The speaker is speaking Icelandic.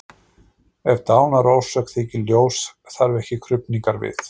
Ef dánarorsök þykir ljós þarf ekki krufningar við.